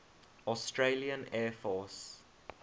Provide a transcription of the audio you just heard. australian air force